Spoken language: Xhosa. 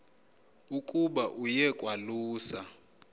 ukuba aye kwalusa